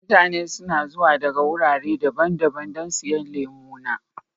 Mutane suna zuwa daga wurare daban-daban don siyan lemu na.